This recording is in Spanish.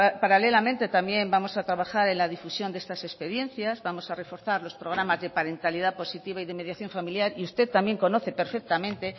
paralelamente también vamos a trabajar en la difusión de estas experiencias vamos a reforzar los programas de parentalidad positiva y de mediación familiar y usted también conoce perfectamente